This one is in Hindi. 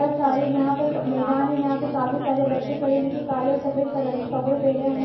सारे यहाँ पे मैदान है यहाँ पे काफी सारे बच्चे खड़े है जो कि काले और सफ़ेद कलर के कपड़े पहने हुए हैं।